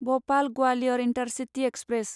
Bhopal Gwalior intercity express